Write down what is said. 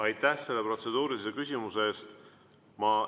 Aitäh selle protseduurilise küsimuse eest!